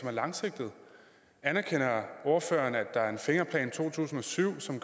er langsigtet anerkender ordføreren at der er en fingerplan to tusind og syv som